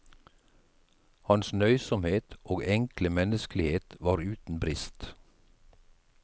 Hans nøysomhet og enkle menneskelighet var uten brist.